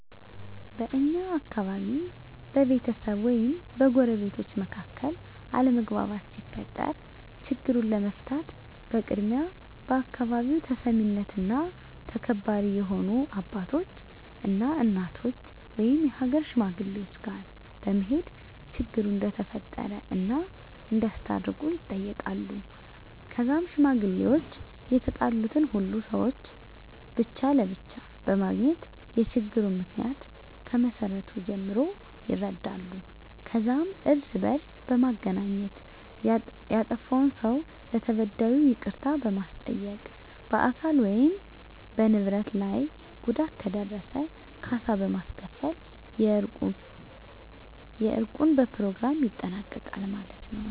በእኛ አካባቢ በቤተሰብ ወይም በጎረቤቶች መካከል አለመግባባት ሲፈጠር ችግሩን ለመፍታት በቅድሚያ በአካባቢው ተሰሚነትና ተከባሪ የሆኑ አባቶች እና እናቶች ወይም የሀገር ሽማግሌወች ጋር በመሄድ ችግሩ እንደተፈጠረ እና እንዲያስታርቁ ይጠየቃሉ ከዛም ሽማግሌወች የተጣሉትን ሁሉንም ሰውች ብቻ ለብቻ በማግኘት የችግሩን ምክንያ ከመሰረቱ ጀምሮ ይረዳሉ ከዛም እርስ በእርስ በማገናኘት ያጠፍውን ሰው ለተበዳዩ ይቅርታ በማስጠየቅ በአካል ወይም በንብረት ላይ ጉዳት ከደረሰ ካሳ በማስከፈል የእርቁን በኘሮግራሙ ይጠናቀቃል ማለት የው።